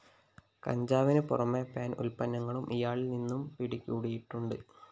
കഞ്ചാവിന് പുറമേ പാൻ ഉത്പ്പന്നങ്ങളും ഇയാളില്‍ നിന്നും പിടികൂടിയിട്ടുണ്ട്